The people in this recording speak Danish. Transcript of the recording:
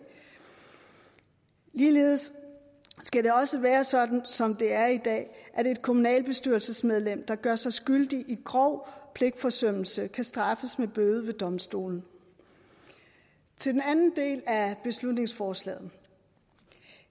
ligeledes skal det også være sådan som det er i dag at et kommunalbestyrelsesmedlem der gør sig skyldig i grov pligtforsømmelse kan straffes med bøde ved domstolen til den anden del af beslutningsforslaget vil